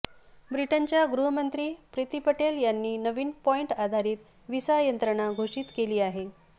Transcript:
ब्रिटनच्या गृहमंत्री प्रिती पटेल यांनी नवीन पॉइंट आधारित व्हिसा यंत्रणा घोषित केली आहे